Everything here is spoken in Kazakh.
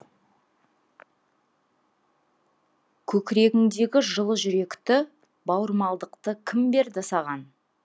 көкірегіңдегі жылы жүректі бауырмалдықты кім берді саған